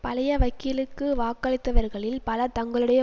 பழைய வக்கீலுக்கு வாக்களித்தவர்களில் பலர் தங்களுடைய